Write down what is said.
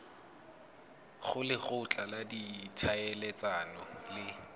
go lekgotla la ditlhaeletsano le